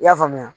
I y'a faamuya